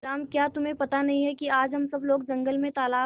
तेनालीराम क्या तुम्हें पता नहीं है कि आज हम सब लोग जंगल में तालाब